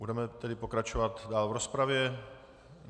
Budeme tedy pokračovat dál v rozpravě.